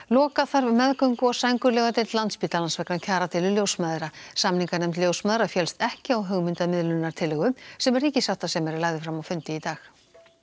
loka þarf meðgöngu og sængurlegudeild Landspítalans vegna kjaradeilu ljósmæðra samninganefnd ljósmæðra féllst ekki á hugmynd að miðlunartillögu sem ríkissáttasemjari lagði fram á fundi í dag